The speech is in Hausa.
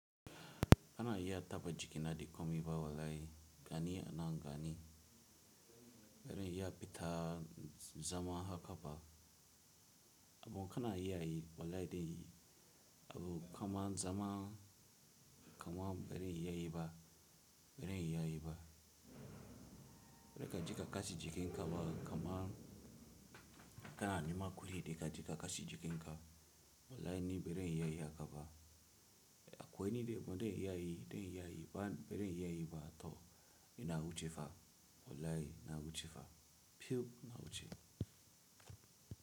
Kana iya taba jiki na da komi ba wallahi, bani na na gani. Bari iya pitta zama haka ba. Abun kana iya yi wallahi dai abun kama zama kama bari iya yi ba, bari iya yi ba. Bari ka jika kashi jikin ka ba kama kana nema kuli dai ka jika kashi jikin ka wallahi ni bari iya yi haka ba. Akwai ni dai abun dai iya yi dai iya yi ba bari iya yi ba to ina wuce fa wallahi na wuce fa, pew na wuce.